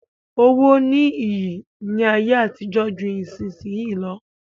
Owó ní iyì ní ayé àtijó ju ìsinsìnyí lọ.